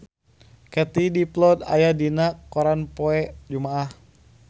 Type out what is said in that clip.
Katie Dippold aya dina koran poe Jumaah